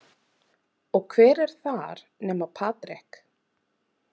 Og hver er þar nema Patrik?